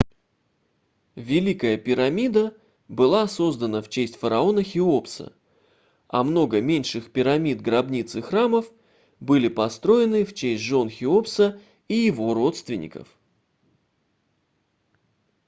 великая пирамида была создана в честь фараона хеопса а много меньших пирамид гробниц и храмов были построены в честь жён хеопаса и его родственников